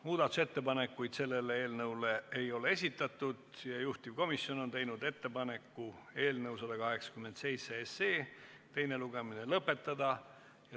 Muudatusettepanekuid selle eelnõu kohta ei esitatud ja juhtivkomisjon on teinud ettepaneku eelnõu 187 teine lugemine lõpetada.